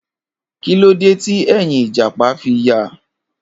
Kilode ti ẹ́yìn ijapa fi ya?